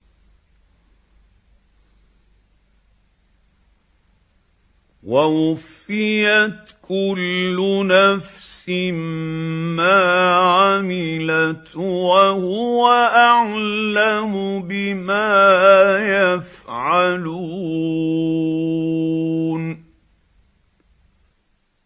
وَوُفِّيَتْ كُلُّ نَفْسٍ مَّا عَمِلَتْ وَهُوَ أَعْلَمُ بِمَا يَفْعَلُونَ